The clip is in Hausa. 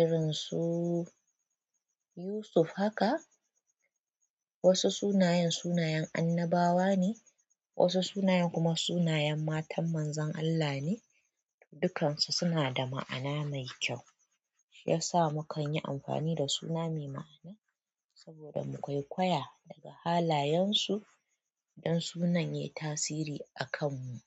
irin su Yusuf haka. Wasu sunayen sunayen annabawa ne, wasu sunayen kuma sunayen matan manzon Allah ne. Dukansu suna da ma'ana mai kyau. Ya sa mu kan yi amfani da suna mai ma'ana saboda muƙwaiƙwaya daga halayensu in sunan yayi tasiri akanmu.